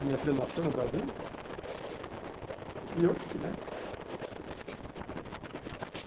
a minha filha nascer no Brasil, e eu aqui, né?